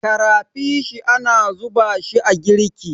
karafishi ana zuba shi a girki